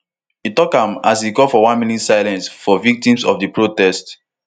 e tok am as e call for one minute silence for victims of di protest